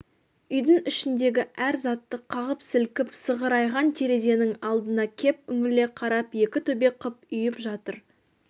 үйдің ішіндегі әр затты қағып-сілкіп сығырайған терезенің алдына кеп үңіле қарап екі төбе қып үйіп жатыр